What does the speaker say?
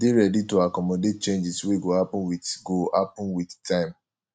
dey ready to accomodate changes wey go happen with go happen with time